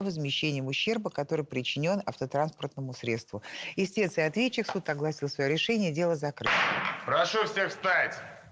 возмещением ущерба который причинён автотранспортному средству истец и ответчик суд огласил своё решение дело закрыто прошу всех встать